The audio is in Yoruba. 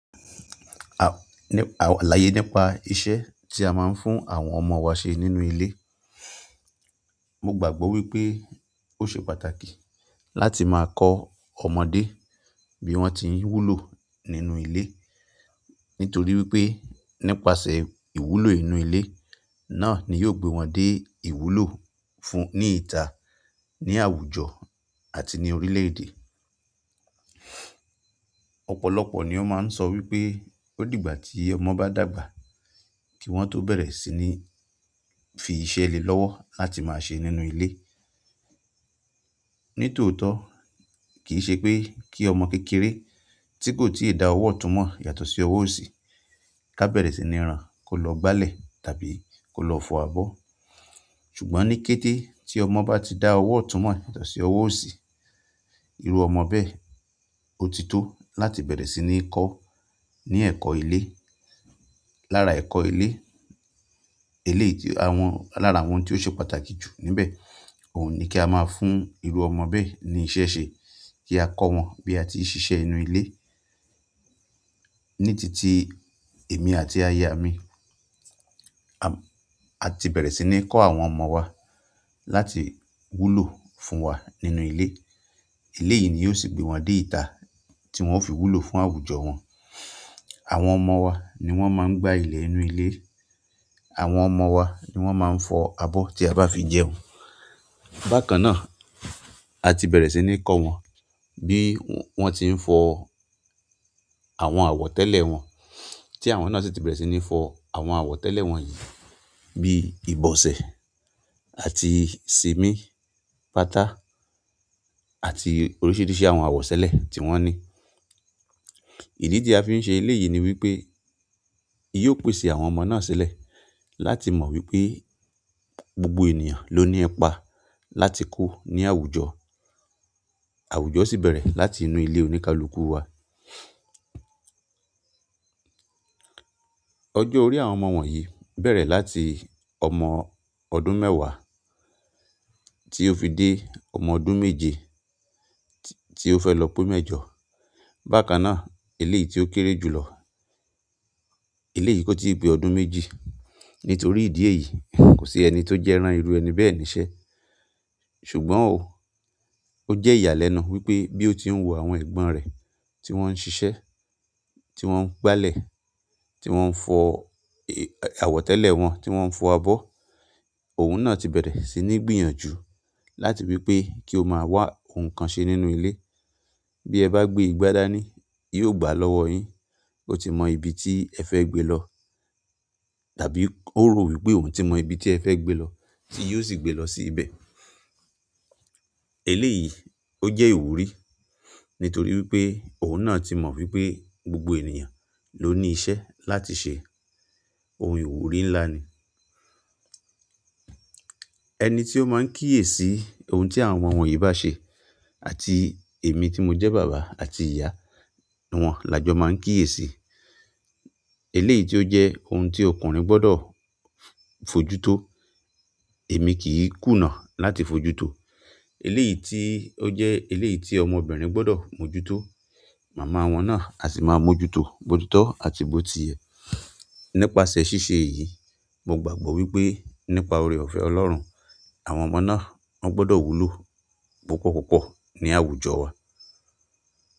Àwọn àláyé nípa iṣẹ́ tí a máa ń fún àwọn ọmọ wa ṣe nínú ilé. Mo gbàgbọ́ wípé ó ṣe pàtàkì láti máa kọ́ ọmọdé bí wón ti ń wúlò nínú ilé. Nítorí wípé nípasẹ̀ ìwúlò inú ilé náà ni yóò gbé wọn dé ìwúlò fún ní ìta, ní àwùjọ àti ní orílẹ̀-èdè. Ọ̀pọ̀lọpọ̀ ni ó máa ń sọ wípé ó dìgbà tí ọmọ bá dàgbà kí wọ́n tó bẹ̀rẹ̀ sí ní fi iṣẹ́ lè lọ́wọ́ láti máa ṣe nínú ilé. Nítòótọ́ kì í ṣe pé kí ọmọ kékeré tí kò tí ì da ọwọ́ túmọ̀ yàtọ̀ sí ọwọ́ òsì ká bẹ̀rẹ̀ sí ní rán ko lọ gbálẹ̀ tàbí kó lọ fọ abọ́. Ṣùgbọ́n ní kété tí ọmọ bá ti da ọwọ́ túmọ̀ yàtọ̀ sí ọwọ́ òsì, irú ọmọ bẹ́ẹ̀ ó ti tó láti bẹ̀rẹ̀ sí ní kọ́ ní ẹ̀kọ́ ilé. Lára ẹ̀kọ́ ilé, eléyìí tí, àwọn, lára àwọn tí ó ṣe pàtàkì jù níbẹ̀, òun ni kí a máa fún irú ọmọ bẹ́ẹ̀ ní iṣẹ́ ṣe kí a kọ́ wọn bí a ti ń ṣiṣẹ́ inú ilé. Ní titi èmi àti aya mi a ti bẹ̀rẹ̀ sí ní kọ́ àwọn ọmọ wa láti wúlò fún wa nínú ilé. Eléyìí ni yóò sì gbé wọn dé ìta tí wọ́n ó fi wúlò fún àwùjọ wọn. Àwọn ọmọ wa ni wọ́n máa ń gbá ilẹ̀ inú ilé. Àwọn ọmọ wa ni wọ́n máa ń fọ abọ́ tí a bá fi jẹun. Bákan náà, a ti bẹ̀rẹ̀ sí ní kọ́ wọn bí wón ti ń fọ àwọn àwọ̀ tẹ́lẹ̀ wọn, tí àwọn náà sì ti bẹ̀rẹ̀ sí ní fọ àwọn àwọ̀tẹ́lẹ̀ wọn yìí bí ìbọsẹ̀ àti sìmí, pátá àti oríṣìíríṣìí àwọn àwọ̀sẹ́lẹ̀ tí wọ́n ní. Ìdí tí a fi ń ṣe eléyìí ni wípé yóò pèsè àwọn ọmọ náà sílẹ̀ láti mọ̀ wípé gbogbo ènìyàn ló ní ipa láti kú ní àwùjọ. Àwùjọ sì bẹ̀rẹ̀ láti inú ilé oníkálukú wa. Ọjọ́ orí àwọn ọmọ wọ̀nyí bẹ̀rẹ̀ láti ọmọ ọdún mẹ́wàá tí ó fi dé ọmọ ọdún méje tí ó fẹ́ lọ pín mẹ́jọ. Bákan náà eléyìí tí ó kéré jùlọ, eléyìí kó ti pé ọdún méjì. Nítorí ìdí èyí kò sí ẹni tó jẹ́ ran irú ẹni bẹ́ẹ̀ ní iṣẹ́. Ṣùgbọ́n ó jẹ́ ìyàlẹ́nu wípé bí ó ti ń wo àwọn ẹ̀gbọ́n rẹ̀ tí wọ́n ń ṣiṣẹ́, tí wọ́n ń gbálẹ̀, tí wọ́n ń fọ àwọ̀tẹ́lẹ̀ wọn, tí wọ́n ń fọ abọ́, òun náà ti bẹ̀rẹ̀ sí ní gbìyànjú láti wípé kí ó máa wá ohun kan ṣe nínú ilé. Bí ẹ bá gbé igbá dáni, yóò gbá a lọ́wọ́ yín. Ó ti mọ́ ibi tí ẹ fẹ́ gbé e lọ. Tàbí ó rò wípé òun ti mọ ibi tí ẹ fẹ́ gbé e lọ tí yóò sì gbé e lọ sí ibẹ̀. Eléyìí ó jẹ́ ìwúrí nítorí wípé òun náà ti mọ̀ wípé gbogbo ènìyàn ló ní iṣẹ́ láti ṣe. Òun ìwúrí ńlá ni. Ẹni tí ó máa ń kíyèsi ohun tí àwọn ọmọ wọ̀nyí bá se àti èmi tí mo jẹ́ bàbá àti ìyá wọn la jọ máa ń kíyèsi. Eléyìí tí ó jẹ́ ohun tí ọkùnrin gbọ́dọ̀ fojuto èmi kì í kùnà láti fojútò. Eléyìí tí ó jẹ́ eléyìí tí ọmọbìnrin gbọ́dọ̀ mójútó, mama wọn náà a sì máa ń mójútó bo ti tọ́ àti bó ti yẹ. Nípasẹ̀ ṣíṣe èyí, mo gbàgbọ́ wípé nípa oore-ọ̀fẹ́ Ọlọ́run àwọn ọmọ náà, wọ́n gbọ́dọ̀ wúlò púpọ̀púpọ̀ ní àwùjọ wa.